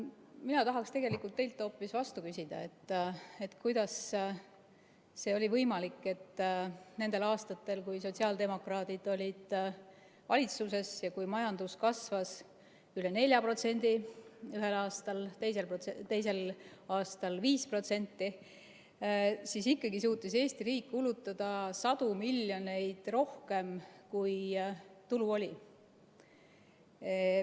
Mina tahaksin teilt hoopis vastu küsida, kuidas see oli võimalik, et nendel aastatel, kui sotsiaaldemokraadid olid valitsuses ja majandus kasvas ühel aastal üle 4% ja teisel aastal 5%, suutis Eesti riik ikkagi kulutada sadu miljoneid rohkem, kui tulusid oli.